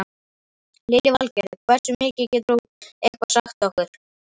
Lillý Valgerður: Hversu mikið, getur þú eitthvað sagt okkur?